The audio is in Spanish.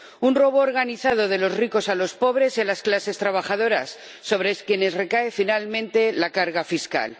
Un robo organizado de los ricos a los pobres y a las clases trabajadoras, sobre quienes recae finalmente la carga fiscal.